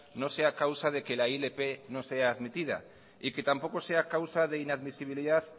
no sea causa de que la ilp no sea admitida y que tampoco sea causa de inadmisibilidad